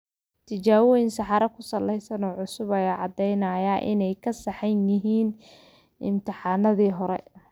Tijaabooyin saxaro ku salaysan oo cusub, ayaa caddaynaya inay ka saxsan yihiin imtixaanadii hore.